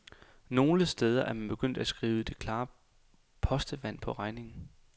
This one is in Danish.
Nogle steder er man begyndt at skrive det klare postevand på regningen.